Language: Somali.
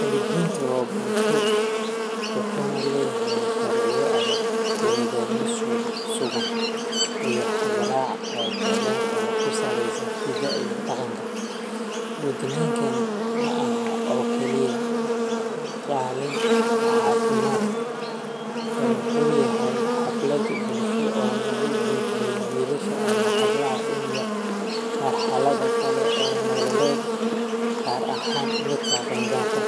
Kalenjinta waa bulsho wuxuna leeyaxay sharciyo adag iyo nidamyo suuban iyo habrac qoto deer oo kusalesan hida iyo daqanka gudninkani maaxa oo kali ah kalin cafimad eh waxu yaxay xaflad bulsho oo lagu gudbiyo wiilasha iyo xablaxa in yar marxalada kale oo nololed gaar axan midka qengarka